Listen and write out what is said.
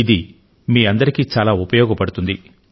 ఇది మీ అందరికీ చాలా ఉపయోగపడుతుంది